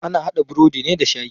Ana haɗa burodi ne da shayi.